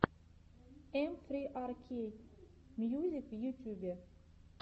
эм фри ар кей мьюзик в ютюбе